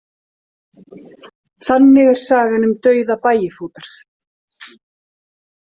Þannig er sagan um dauða Bægifótar.